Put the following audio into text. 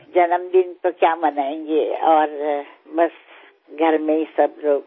જન્મદિન તો શું મનાવવાનો અને બસ ઘરમાં જ બધા લોકો